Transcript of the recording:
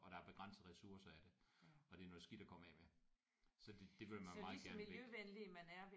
Og der er begrænsede ressourcer af det og det er noget skidt at komme af med så det vil man meget gerne væk